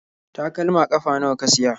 Takalma ƙafa nawa ka siya?